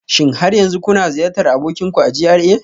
Shin har yanzu kuna ziyartar abokin ku a GRA